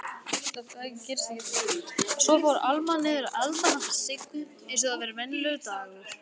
Svo fór Alma niður að elda handa Siggu einsog það væri venjulegur dagur.